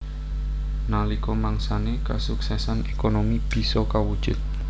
Nalika mangsané kasuksesan ékonomi bisa kawujud